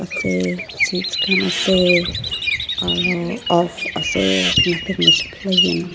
ase seats khan ase aro off ase nothing is playing .